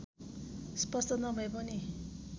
स्पष्ट नभए पनि